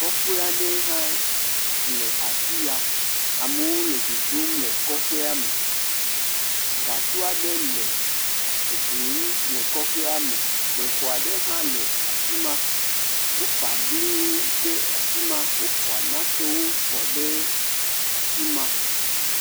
Kɔƒe aɖe hã le afi ya. Amewo le dzodzom le kɔƒea me. Gasɔ aɖe le gli nu le kɔƒe me. Bexɔ aɖe hã le afi ma. Woƒa bliwo ɖe afi ma. Wofɔ nakewo kɔ ɖe afi ma.